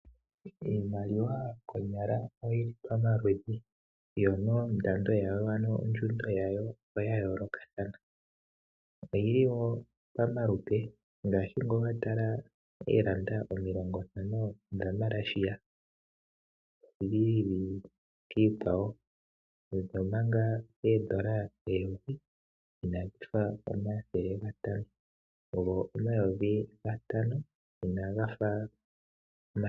Iimaliwa konyala oyi li pamaludhi yo nondando ano ondjundo yawo oya yoolokathana. Oyi li wo pamalupe, ngaashi ngele owa tala oofrancs ntano dhaMalaysia odhi ili kiikwawo, omanga ooFrancs eyovi inadhi fa omathele gatano, go omayovi gatano inaga fa omathele gatano.